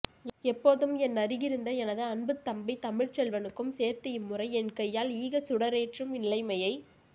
எப்போதும் என்னருகிருந்த எனது அன்புத்தம்பி தமிழ்ச்செல்வனுக்கும் சேர்த்து இம்முறை என்கையால் ஈகச்சுடரேற்றும் நிலைமையைச்